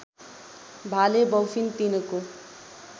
भाले बौफिन तिनको